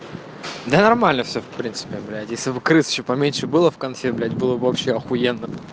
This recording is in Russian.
да нормально всё в принципе блять если б крыс ещё поменьше было в конце блять было б вообще охуенно